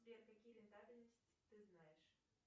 сбер какие рентабельность ты знаешь